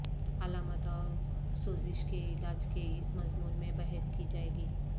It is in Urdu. علامات اور سوزش کے علاج کے اس مضمون میں بحث کی جائے گی